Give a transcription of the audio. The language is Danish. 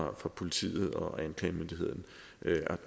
om fra politiet og anklagemyndigheden